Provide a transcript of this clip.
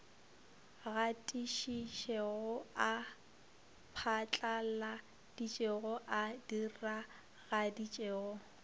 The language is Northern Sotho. gatišitšego a phatlaladitšego a diragaditšego